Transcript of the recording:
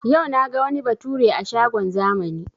Yau naga wani bature a shagon zamani